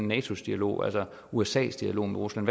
natos dialog usas dialog med rusland